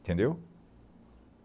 Entendeu?